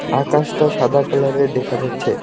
আকাশটা সাদা কালারের দেখা যাচ্ছে।